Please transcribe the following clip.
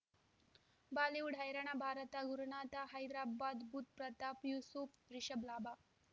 Bollywood ಹೈರಾಣ ಭಾರತ ಗುರುನಾಥ ಹೈದರಾಬಾದ್ ಬುಧ್ ಪ್ರತಾಪ್ ಯೂಸುಫ್ ರಿಷಬ್ ಲಾಭ